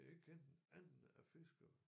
Jeg kendte en anden af fiskere